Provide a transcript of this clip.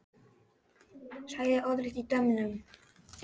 Sagði orðrétt í dómnum